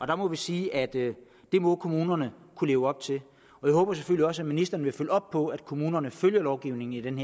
der må vi sige at det må kommunerne kunne leve op til og jeg håber selvfølgelig også at ministeren vil følge op på at kommunerne følger lovgivningen